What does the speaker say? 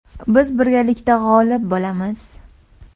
Biz birgalikda g‘olib bo‘lamiz.